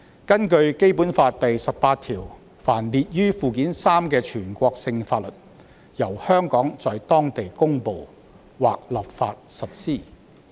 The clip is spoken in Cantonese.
根據《基本法》第十八條，凡列於《基本法》附件三之全國性法律，由香港在當地公布或立法實施。